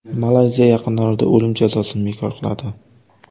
Malayziya yaqin orada o‘lim jazosini bekor qiladi.